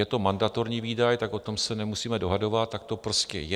Je to mandatorní výdaj, tak o tom se nemusíme dohadovat, tak to prostě je.